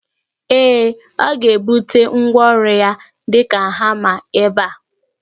Ee, ọ ga ebute ngwaọru ya di ka hama ebe a